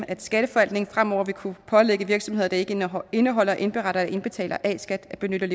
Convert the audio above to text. at skatteforvaltningen fremover vil kunne pålægge virksomheder der ikke indeholder indeholder indberetter eller indbetaler a skat at benytte